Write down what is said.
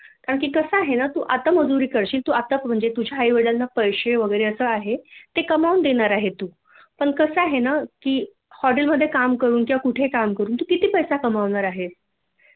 कारण की कसं आहे ना तु आता मजूरी करशील आताच म्हणजे तुझ्या आई वडीलांना पैसे वैगरे असं आहे ते कमवून देणार आहे तु पण कस आहे ना की हॉटेल मध्ये काम करून किंवा कुठे काम करून तु किती पैसा कमवणार आहे